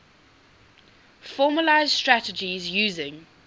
formalised strategies using